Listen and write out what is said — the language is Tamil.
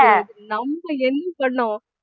நம்ம என்~ பண்ணோம்